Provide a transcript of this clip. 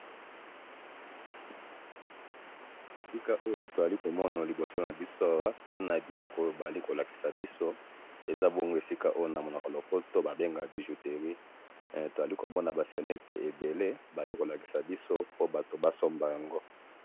Na moni bijouterie na ba bijoux ebele po batu ba somba yango,